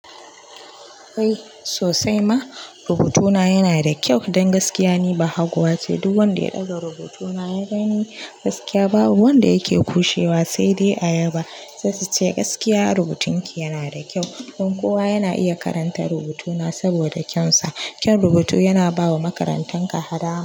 Eh sosai ma, rubutuna yana da kyau don gaskiya ni ba haguwa ce duk wanda ya ɗaga rubutuna ya bani gaskiya babu wanda yake kushewa sai dai ayaba. Saai su ce gaskiya rubutun ki yana da kyau don kowa yana iya karanta rubutuna saboda kyan sa. Kyan rubutu yana bawa makarantan ka haɗa.